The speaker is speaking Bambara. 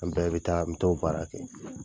An bɛɛ bɛ taa, an b t'o baara kɛ.